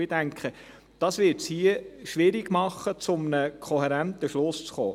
Und ich denke, das wird es hier schwierig machen, zu einem kohärenten Schluss zu kommen.